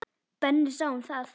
Benni sá um það.